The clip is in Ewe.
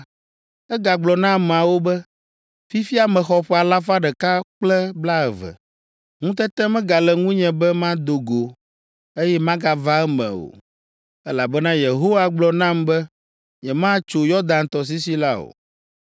egagblɔ na ameawo be, “Fifia mexɔ ƒe alafa ɖeka kple blaeve. Ŋutete megale ŋunye be mado go, eye magava eme o, elabena Yehowa gblɔ nam be nyematso Yɔdan tɔsisi la o.